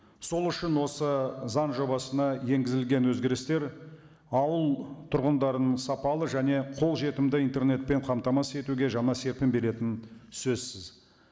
сол үшін осы заң жобасына енгізілген өзгерістер ауыл тұрғындарының сапалы және қолжетімді интернетпен қамтамасыз етуге жаңа серпін беретіні сөзсіз